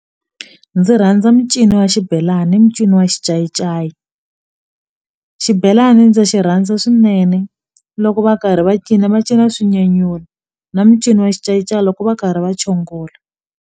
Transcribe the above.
Ndzi rhandza mincino wa xibelani i mincino wa xincayincayi xibelani ndzi xi rhandza swinene loko va karhi va cina va cina swi nyanyula na mincino wa xincayincayi loko va karhi va chongola.